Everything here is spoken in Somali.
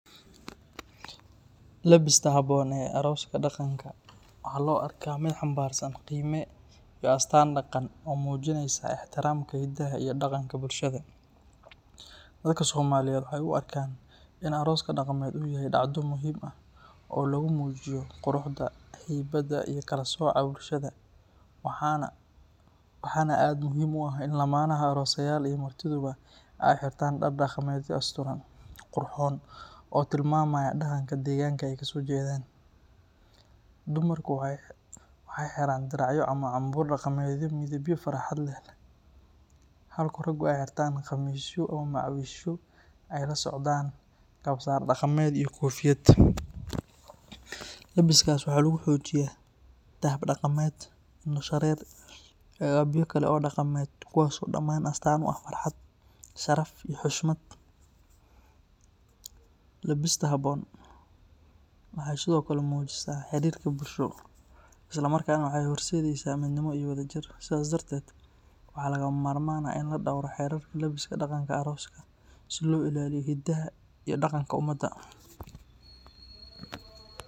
Labiska haboon oo arooska daqanka, dadka somaaliyeed waa dacdo muhiim ah, quruxda iyo kala sooco, dadka inaay xirtaan dar daqameed, dumarka diracya, halka raga qamiisya iyo kofiyada, kuwaas oo astaan u ah farxad, waxeey mujisaa xariirka bulsho, si loo ilaaliyo hidaha iyo daqanka umada.